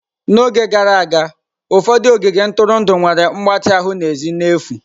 N'oge gara aga, ụfọdụ ogige ntụrụndụ nwere mgbatị ahụ n'èzí n'efu.